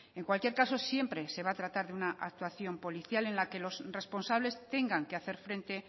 en cualquier caso siempre se va a tratar de una actuación policial en la que los responsables tengan que hacer frente